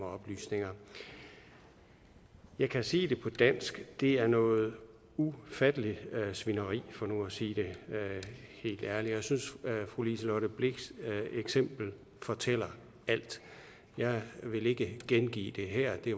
oplysninger jeg kan sige det på dansk det er noget ufatteligt svineri for nu at sige det helt ærligt jeg synes at fru liselott blixts eksempel fortæller alt jeg vil ikke gengive det her det